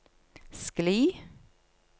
skli